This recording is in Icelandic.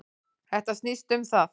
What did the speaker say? Þetta snýst um það.